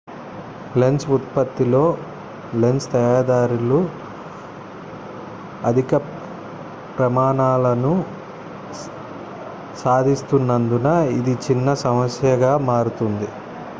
lens ఉత్పత్తిలో lens తయారీదారులు అధిక ప్రమాణాలను సాధిస్తున్నందున ఇది చిన్న సమస్యగా మారుతోంది